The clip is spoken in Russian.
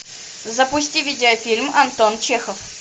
запусти видеофильм антон чехов